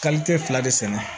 fila de sɛnɛ